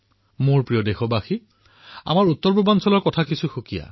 মোৰ মৰমৰ দেশবাসীসকল আমাৰ উত্তৰ পূৰ্বাঞ্চলৰ কথাই বেলেগ